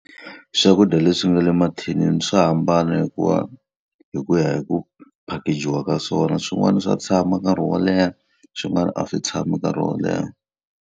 Swakudya leswi nga le mathinini swa hambana hikuva hi ku ya hi ku package-iwa ka swona. Swin'wana swa tshama nkarhi wo leha, swin'wana a swi tshami nkarhi wo leha.